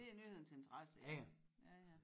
Det er nyhedens interesse ja ja